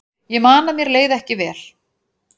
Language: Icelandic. Ég man að mér leið ekki vel.